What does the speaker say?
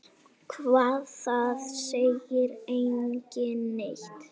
Hvað, það segir enginn neitt.